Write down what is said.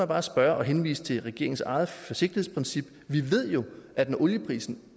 bare spørge og henvise til regeringens eget forsigtighedsprincip vi ved jo at når olieprisen